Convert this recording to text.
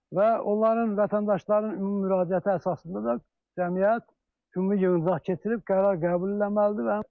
Və onların, vətəndaşların ümumi müraciəti əsasında da cəmiyyət ümumi yığıncaq keçirib qərar qəbul etməlidirlər.